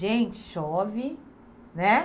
Gente, chove, né?